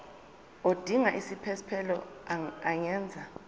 odinga isiphesphelo angenza